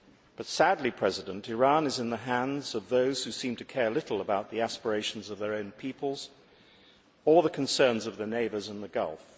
But sadly, Iran is in the hands of those who seem to care little about the aspirations of their own peoples or the concerns of their neighbours in the Gulf.